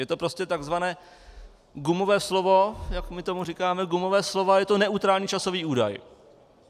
Je to prostě takzvané gumové slovo, jak my tomu říkáme, gumové slovo, a je to neutrální časový údaj.